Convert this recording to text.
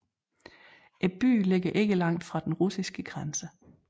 Byen ligger ikke langt fra den russiske grænse